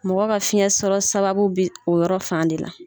Mɔgɔ ka fiɲɛ sɔrɔ sababu bi o yɔrɔ fan de la